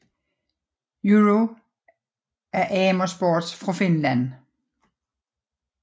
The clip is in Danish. Euro af Amer Sports fra Finland